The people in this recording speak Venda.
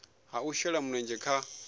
ha u shela mulenzhe kha